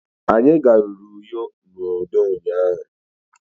Anyi garuru Uyo na udo ụnyahụ.